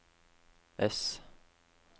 S